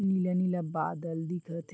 नीला-नीला बादल दिखत ह --